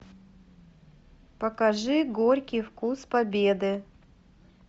покажи горький вкус победы